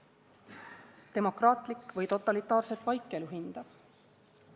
Demokraatlik või totalitaarset vaikelu hindav?